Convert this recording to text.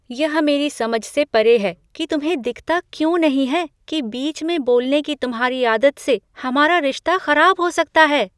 यह मेरी समझ से परे है कि तुम्हें दिखता क्यों नहीं है कि बीच में बोलने की तुम्हारी आदत से हमारा रिश्ता खराब हो सकता है।